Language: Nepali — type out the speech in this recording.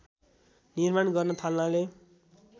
निर्माण गर्न थाल्नाले